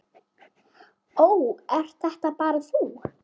Ó, ert þetta bara þú?